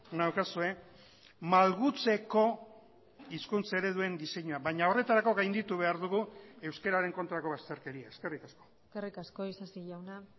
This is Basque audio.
naukazue malgutzeko hizkuntza ereduen diseinua baina horretarako gainditu behar dugu euskararen kontrako bazterkeria eskerrik asko eskerrik asko isasi jauna